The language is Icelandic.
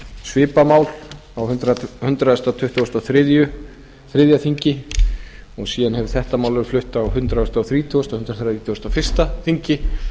svipað mál á hundrað tuttugasta og þriðja þingi en síðan hefur þetta mál verið flutt á hundrað þrítugasta og hundrað þrítugasta og fyrsta þingi